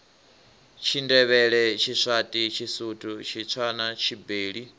tshindevhele tshiswati tshisuthu tshitswana tshibeli